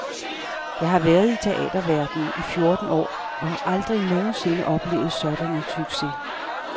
Jeg har været i teaterverdenen i fjorten år og har aldrig nogen sinde oplevet sådan en succes.